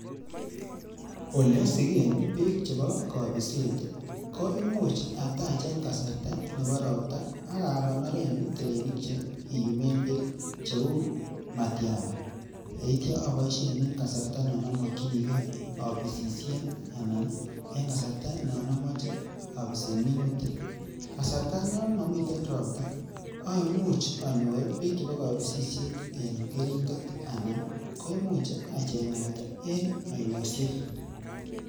Ole asigen beek chebo kobiset ko imuch atach en kasarta nebo ropta ak agonoren terenik che kiyumen beek cheu matiaba. Ye ityo aboishen en kasarta non amokinige abisishen anan en kasarta non amache abisen minutik. Kasarta non momiten ropta aimuche anyor beek chebo kobisishet en keringet anan koimuch acheng'at en oinoshek.